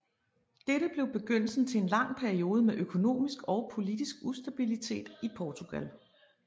Dette blev begyndelsen til en lang periode med økonomisk og politisk ustabilitet i Portugal